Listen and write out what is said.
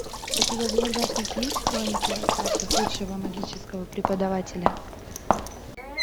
у тебя в загашнике есть хроники акаши худшего магического преподавателя